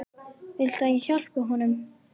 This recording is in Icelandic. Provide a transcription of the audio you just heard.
Viltu að ég hjálpi honum?